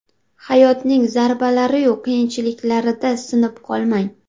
Hayotning zarbalari-yu qiyinchiliklarida sinib qolmang.